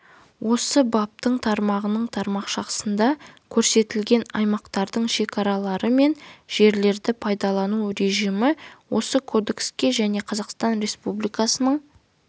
осы баптың тармағының тармақшасында көрсетілген аймақтардың шекаралары мен жерлерді пайдалану режимі осы кодекске және қазақстан республикасының